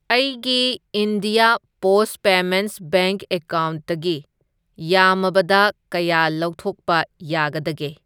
ꯑꯩꯒꯤ India post payments bank ꯑꯦꯀꯥꯎꯟꯠꯇꯒꯤ ꯌꯥꯝꯃꯕꯗ ꯀꯌꯥ ꯂꯧꯊꯣꯛꯄ ꯌꯥꯒꯗꯒꯦ?